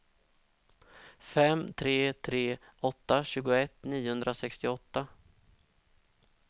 fem tre tre åtta tjugoett niohundrasextioåtta